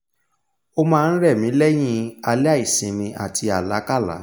o máa n rẹ̀ mí lẹ́yìn alẹ́ àìsinmi àti àlákálá